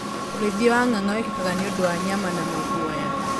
ũrĩithia wa nganga wĩkĩkaga nĩũndũ wa nyama na maguoya.